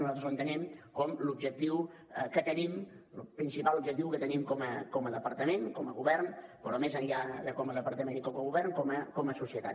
nosaltres l’entenem com el principal objectiu que tenim com a departament com a govern però més enllà de com a departament i com a govern com a societat